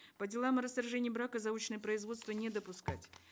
по делам о расторжении брака заочное производство не допускать